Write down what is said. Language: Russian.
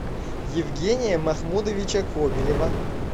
евгения махмудовича кобелева